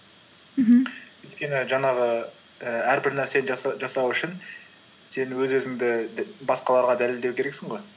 мхм өйткені жаңағы і әрбір нәрсені жасау үшін сен өз өзіңді басқаларға дәлелдеу керексің ғой